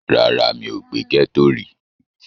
Rárá, mi ò gbé ní gẹ́ẹ́tò rí